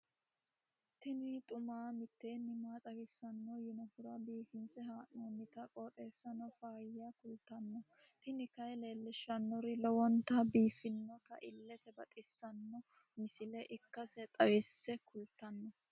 tini xuma mtini maa xawissanno yaannohura biifinse haa'noonniti qooxeessano faayya kultanno tini kayi leellishshannori lowonta biiffinota illete baxissanno misile ikkase xawisse kultanno.